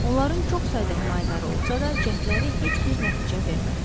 Onların çox sayda himayədarı olsa da, cəhdləri heç bir nəticə vermədi.